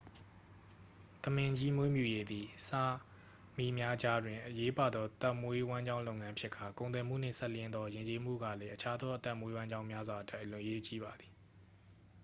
သမင်ကြီးမွေးမြူရေးသည် စာမီများကြားတွင် အရေးပါသော သက်မွေးဝမ်းကြောင်းလုပ်ငန်းဖြစ်ကာ ကုန်သွယ်မှုနှင့်စပ်လျဉ်းသောယဉ်ကျေးမှုကလည်း အခြားသောအသက်မွေးဝမ်းကြောင်းများစွာအတွက် အရေးကြီးပါသည်